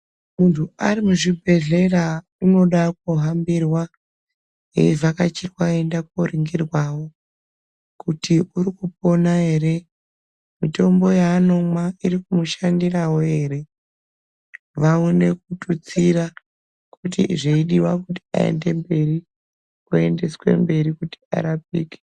Mundu arimuchibhedhlera unoda kuhambirwa eyivhakachirwa eyienda koningirwawo kuti urikupona ere mutombo yaanomwa irikumushandirawo ere vaone kututsira kuti zveidiwa aende mberi oendeswe mberi kuti arapike.